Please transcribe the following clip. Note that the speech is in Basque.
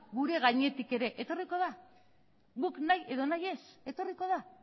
gure gainetik ere etorriko da guk nahi edo nahi ez etorriko da